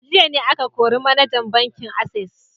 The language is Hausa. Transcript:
A jiya ne aka kori manajan bankin Access